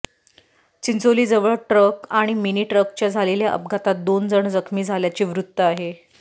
चिंचोलीजवळ truck आणि mini ट्रकच्या झालेल्या अपघातात दोन जण जखमी झाल्याचे वृत्त आहे